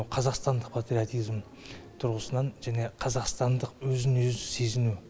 қазақстандық патриотизм тұрғысынан және қазақстандық өзін өзі сезіну